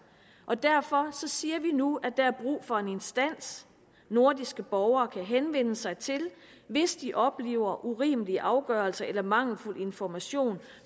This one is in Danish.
og derfor siger vi nu at der er brug for en instans nordiske borgere kan henvende sig til hvis de oplever urimelige afgørelser eller mangelfuld information